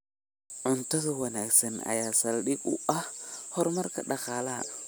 Cunto wanaagsan ayaa saldhig u ah horumarka dhaqaalaha.